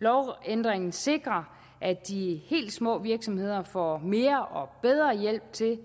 lovændringen sikrer at de helt små virksomheder får mere og bedre hjælp til